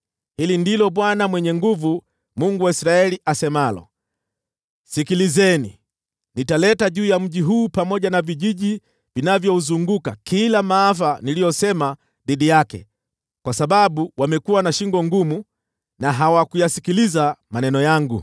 “Hili ndilo Bwana Mwenye Nguvu Zote, Mungu wa Israeli, asemalo: ‘Sikilizeni! Nitaleta juu ya mji huu pamoja na vijiji vinavyouzunguka kila maafa niliyosema dhidi yake, kwa sababu wamekuwa na shingo ngumu, na hawakuyasikiliza maneno yangu.’ ”